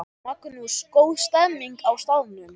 Magnús: Góð stemning á staðnum?